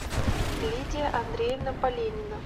лидия андреевна поленина